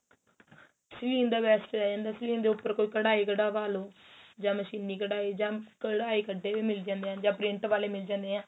ਸਲੀਨ ਦਾ best ਰਹਿ ਜਾਂਦਾ ਸਲੀਨ ਦੇ ਉਪਰ ਕੋਈ ਕੱਡਾਈ ਕੱਡਵਾ ਲੋ ਜਾਂ ਮਸ਼ੀਨੀ ਕੱਡਾਈ ਜਾਂ ਕੱਡਾਈ ਕੱਡੇ ਵੀ ਮਿਲ ਜਾਂਦੇ ਏ ਜਾਂ print ਵਾਲੇ ਮਿਲ ਜਾਣੇ ਏ